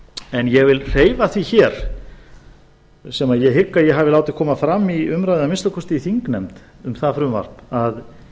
en ég vil hreyfa því hér sem ég hygg að ég hafi látið koma fram í umræðum að minnsta kosti í þingnefnd um það frumvarp að